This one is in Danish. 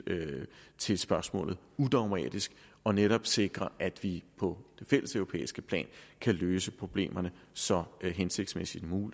til spørgsmålet udogmatisk og netop sikre at vi på det fælleseuropæiske plan kan løse problemerne så hensigtsmæssigt